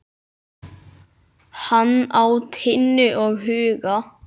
Hann á Tinnu og Huga.